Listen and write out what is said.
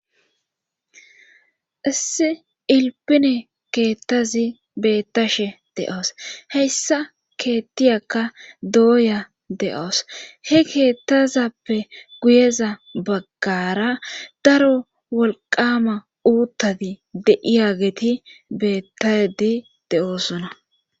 issi ilpine keettazi beettashe de7oos heyssa keettiyakka dooya de7oos he keettazappe guyeza baggara daro walqama uuttadi deiya geeti bettadi de7oosona